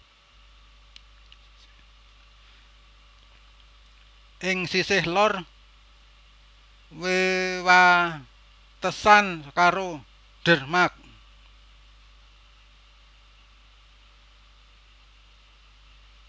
Ing sisih lor wewatesan karo Denmark